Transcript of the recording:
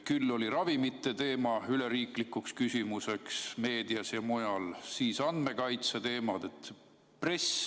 Küll oli ravimite teema üleriiklikuks küsimuseks meedias ja mujal, siis andmekaitse teema.